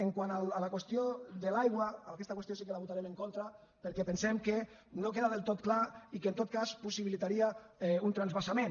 quant a la qüestió de l’aigua aquesta qüestió sí que la votarem en contra perquè pensem que no queda del tot clar i que en tot cas possibilitaria un transvasament